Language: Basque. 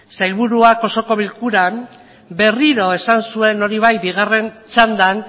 sailburuak osoko bilkuran berriro esan zuen hori bai bigarren txandan